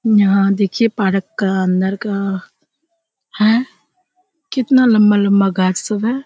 यहाँ देखिए पारक का अंदर का कितना लम्बा-लम्बा गाछ सब है।